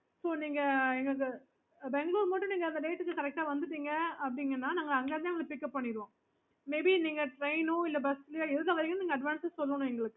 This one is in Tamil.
ஹம் mam நீங்க ஹம் நாங்க